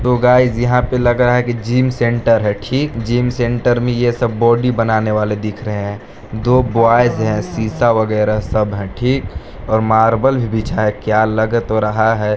Hello guys यहाँ पर लग रहा है कि जिम सेंटर है ठीक जिम सेंटर में ये सब बॉडी बनाने वाले दिख रहे हैं दो बॉयज शीशा वगेरा सब हैं ठीक और मार्बल भी बिछा है क्या लग तो रहा है।